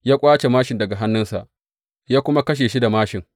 Ya ƙwace māshin daga hannunsa, ya kuma kashe shi da māshin.